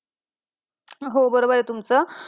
हो बरोबर आहे तुमचं.